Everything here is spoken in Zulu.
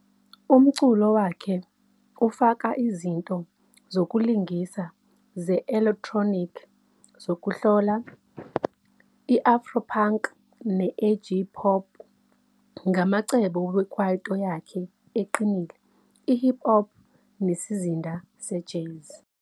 Umculo wakhe ufaka izinto zokulingisa ze-elektroniki zokuhlola, i-afro-punk ne-edgy-pop ngamacebo we-kwaito yakhe eqinile, i-hip hop, nesizinda se-jazz.